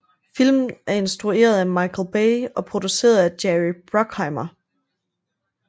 Filmen er instrueret af Michael Bay og produceret af Jerry Bruckheimer